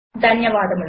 ధన్యవాదములు